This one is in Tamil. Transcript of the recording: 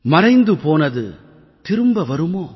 மறைந்து போனது திரும்ப வருமோ